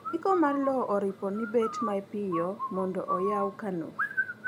ndiko mar lowo oripo ni bet mapiyo mondo oywa kano